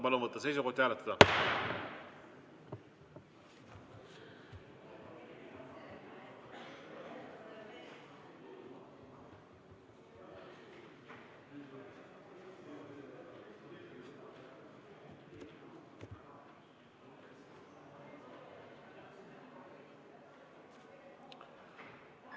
Palun võtta seisukoht ja hääletada!